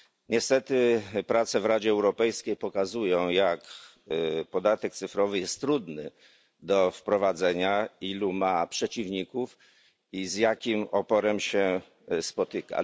Niestety, prace w Radzie Europejskiej pokazują, jak podatek cyfrowy jest trudny do wprowadzenia, ilu ma przeciwników i z jakim oporem się spotyka.